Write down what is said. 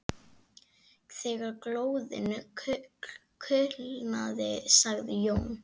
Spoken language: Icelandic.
Þegar glóðin kulnaði sagði Jón